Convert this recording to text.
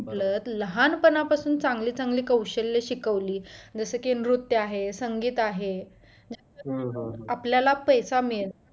म्हटलं लहानपणापासून चांगलं चांगलं कौशल्य शिकवली जसं की नृत्य आहे संगीत आहे आपल्याला पैसा मिळेल